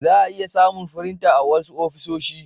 za'a iya samun firinta a wasu ofisoshi.